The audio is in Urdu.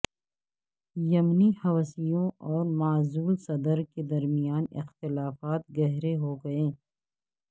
یمنی حوثیوں اور معزول صدر کے درمیان اختلافات گہرے ہو گئے